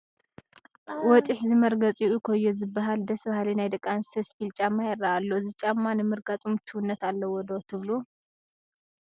ወጢሕ ዝመርገፂኡ ኮዮ ዝበሃል ደስ በሃሊ ናይ ደቂ ኣንስትዮ ስፒል ጫማ ይርአ ኣሎ፡፡ እዚ ጫማ ንምርጋፁ ምቹውነት ኣለዎ ዶ ትብሉ?